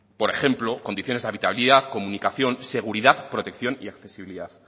por ejemplo condiciones de habitabilidad comunión seguridad protección y accesibilidad